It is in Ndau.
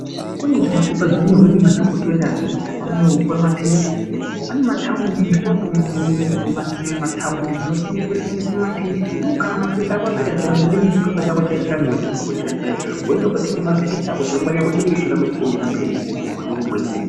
Kune zvimapepa zvinyorwe nemadhokotera chipepa anoo wopiwe maphirisi. Pane mataundi mashopu mumataundi munotengeswe-tengeswe maphirisi. Iwewe kana maphirisi ako apera zviyani unoende nechipepa chako chinee chakanyorwa nadhogodheya chiyani. Woende kootenga maphirisi ako chirongwa chako chodii, choramba chichienderere mberi, kuti ugwinye.